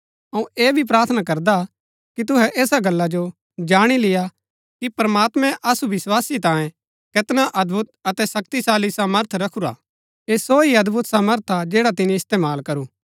अऊँ ऐह भी प्रार्थना करदा कि तुहै ऐसा गल्ला जो जाणी लेय्आ कि प्रमात्मैं असु विस्वासी तांये कैतना अदभुत अतै शक्तिशाली सामर्थ रखुरा हा ऐह सो ही अदभुत सामर्थ हा जैडा तिनी इस्तेमाल करू